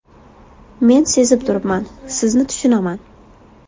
Men sezib turibman, sizni tushunaman.